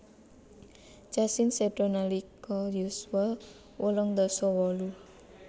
Cassin seda nalika yuswa wolung dasa wolu